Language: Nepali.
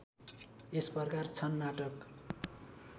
यसप्रकार छन् नाटक